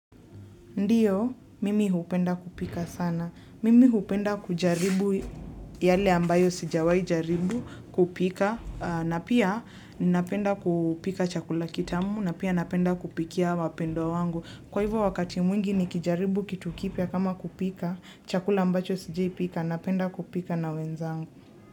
Ndiyo, mimi hupenda kupika sana. Mimi hupenda kujaribu yale ambayo sijawai jaribu kupika. Na pia, ninapenda kupika chakula kitamu, na pia napenda kupikia wapendwa wangu. Kwa hivyo wakati mwingi nikijaribu kitu kipia kama kupika, chakula ambacho sijai pika, napenda kupika na wenzangu.